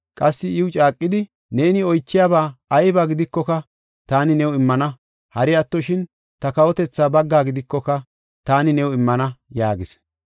Qassi iw caaqidi, “Neeni oychiyaba ayba gidikoka, taani new immana. Hari attoshin, ta kawotethaa baggaa gidikoka taani new immana” yaagis.